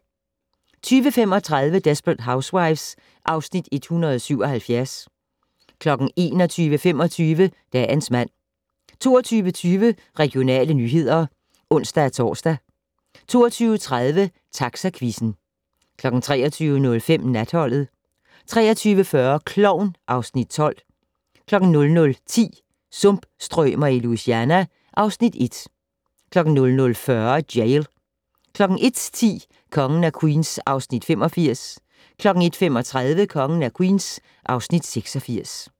20:35: Desperate Housewives (Afs. 177) 21:25: Dagens mand 22:20: Regionale nyheder (ons-tor) 22:30: Taxaquizzen 23:05: Natholdet 23:40: Klovn (Afs. 12) 00:10: Sumpstrømer i Louisiana (Afs. 1) 00:40: Jail 01:10: Kongen af Queens (Afs. 85) 01:35: Kongen af Queens (Afs. 86)